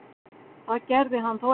Það gerði hann þó ekki.